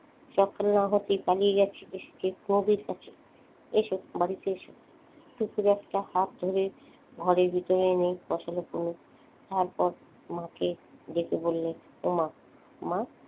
সকাল না হতেই পালিয়ে গেছে এসো বাড়িতে এসো টুকুর একটা হাত ধরে ঘরের ভিতরে নিয়ে বসালো তারপর মাকে ডেকে বললে ওমা মা,